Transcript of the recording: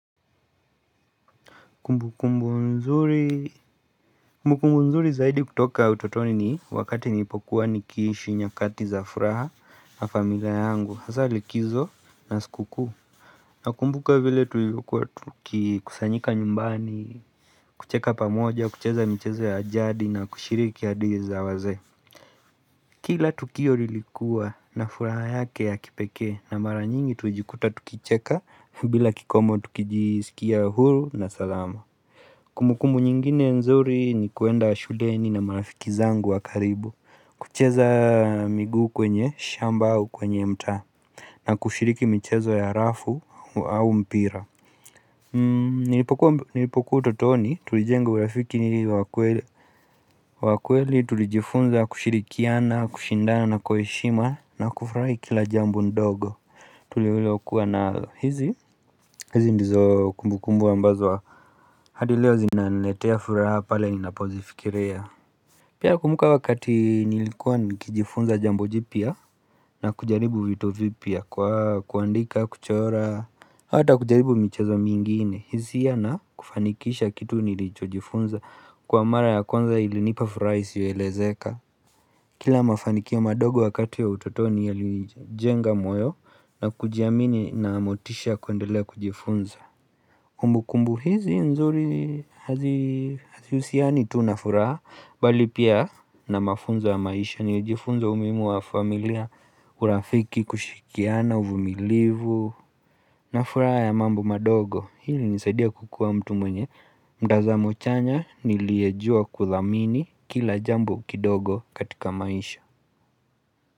Kumbukumbu nzuri Kumbukumbu nzuri zaidi kutoka utotoni ni wakati nipokuwa nikishi nyakati za furaha na familia yangu hasa likizo na sukuku Nakumbuka vile tulikuwa kikusanyika nyumbani kucheka pamoja kucheza mchezo ya jadi na kushiriki yadi za waze Kila tukio lilikuwa na furaha yake ya kipeke na mara nyingi tujikuta tukicheka bila kikomo tukijisikia huru na salama Kumbu kumbu nyingine nzuri ni kuenda shuleni na marafiki zangu wakaribu kucheza migu kwenye shamba au kwenye mta na kushiriki michezo ya rafu au mpira Nilipokua utotoni tulijenga urafiki ni wakweli wakweli tulijifunza kushirikiana, kushindana na kwa heshima na kufrai kila jambo ndogo Tulewilo kuwa nalo hizi hizi ndizo kumbukumbu ambazo wa hadi leo zinanletea furaha pale inapozifikiria Pia kumbuka wakati nilikuwa nikijifunza jambo jipia na kujaribu vitu vipia kwa kuandika kuchora Hata kujaribu michezo mingine Hizia na kufanikisha kitu nilichojifunza Kwa mara ya kwanza ilinipa furaha isiyo elezeka Kila mafanikio madogo wakati ya utotoni ya ilijenga moyo na kujiamini na motisha kuendelea kujifunza Umbu kumbu hizi nzuri haziusiani tu nafuraa bali pia na mafunzo maisha ni ujifunza umuhimu wa familia urafiki kushikiana uvumilivu Nafuraha ya mambo madogo hili nisaidia kukua mtu mwenye mtazamo chanya niliyejua kuthamini kila jambo kidogo katika maisha.